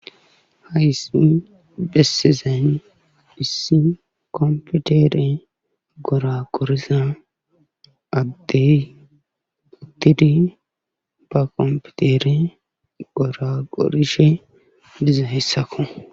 Haisimi bessezan issi komputere gora qoriza addey uttidi ba kompitere gora qorishe diza hessako.